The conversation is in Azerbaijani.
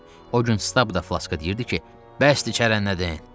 O gün Stap da Flaskə deyirdi ki, bəsdir kərənnədin.